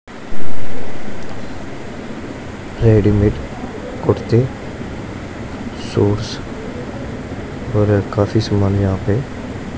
readymade कुर्ते suits और ये काफी समान यहां पे--